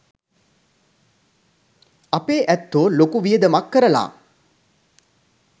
අපේ ඇත්තෝ ලොකු වියදමක් කරලා